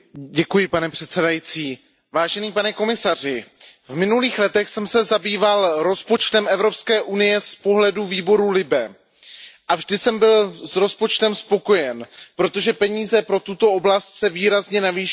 Pane předsedající, pane komisaři, v minulých letech jsem se zabýval rozpočtem EU z pohledu výboru LIBE a vždy jsem byl s rozpočtem spokojen, protože peníze pro tuto oblast se výrazně navýšily.